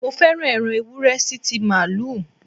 Mo féràn ẹran Ewúré sí ti Màálù.